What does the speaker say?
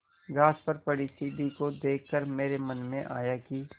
घास पर पड़ी सीढ़ी को देख कर मेरे मन में आया कि